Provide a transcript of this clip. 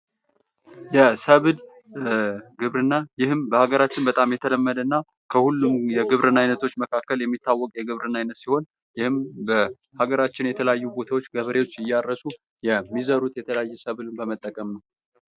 የሰብል ግብርና ይህም በአገራችን በጣም የተለመደ ነው። ከሁሉም የግብርና ዓይነቶች መካከል የሚታወቅ የግብርና ዓይነት ሲሆን፤ ይህም በአገራችን የተለያዩ ቦታዎች ገበሬዎች እያረሱ የሚዘሩት የተለያዩ የሰብል በመጠቀም ነው።